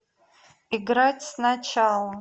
играть сначала